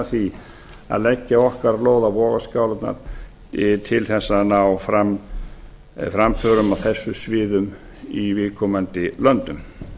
því að leggja okkar lóð á vogarskálarnar til þess að ná fram framförum á þessum sviðum í viðkomandi löndum